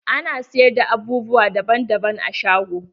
Ana siyar da abubuwa daban daban a shago.